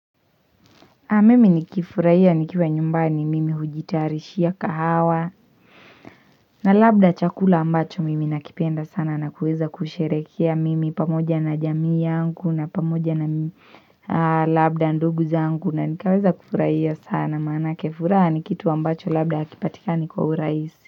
Mimi nikifurahia nikiwa nyumbani mimi hujitayarishia kahawa na labda chakula ambacho mimi nakipenda sana na kuweza kusherehekea mimi pamoja na jamii yangu na pamoja na labda ndugu zangu na nikaweza kufurahia sana maanake furaha ni kitu ambacho labda hakipatikani kwa urahisi.